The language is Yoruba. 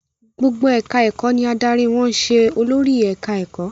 Gbogbo ẹ̀ka-ẹ̀kọ́ ni adarí wọn ń ṣe olórí ẹ̀ka-ẹ̀kọ́.